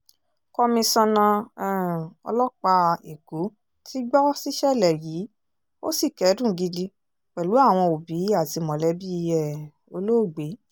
komisanna um ọlọ́pàá èkó ti gbó síṣẹ̀lẹ̀ yìí ó sì kẹ́dùn gidi pẹ̀lú àwọn òbí àti mọ̀lẹ́bí um olóògbé